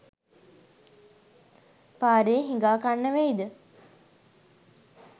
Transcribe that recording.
පාරේ හිඟා කන්න වෙයි ද?